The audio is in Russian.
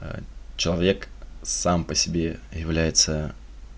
а человек сам по себе является